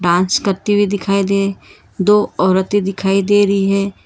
आज करती हुई दिखाई दे दो औरतें दिखाई दे रही हैं।